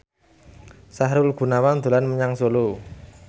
Sahrul Gunawan dolan menyang Solo